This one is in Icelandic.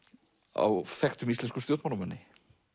á þekktum íslenskum stjórnmálamanni